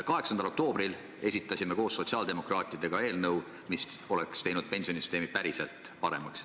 8. oktoobril esitasime koos sotsiaaldemokraatidega eelnõu, mis oleks tõesti teinud pensionisüsteemi paremaks.